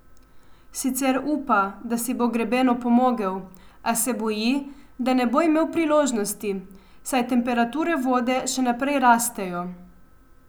Sicer upa, da si bo greben opomogel, a se boji, da ne bo imel priložnosti, saj temperature vode še naprej rastejo.